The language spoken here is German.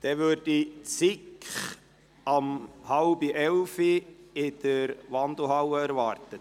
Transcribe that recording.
Eine Mitteilung: Die SiK wird um 10.30 Uhr in der Wandelhalle erwartet.